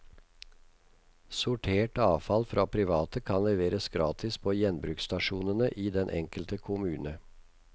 Sortert avfall fra private kan leveres gratis på gjenbruksstasjonene i den enkelte kommune.